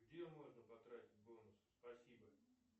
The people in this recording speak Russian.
где можно потратить бонусы спасибо